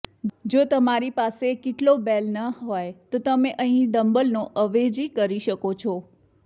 જો તમારી પાસે કીટલોબેલ ન હોય તો તમે અહીં ડંબલનો અવેજી કરી શકો છો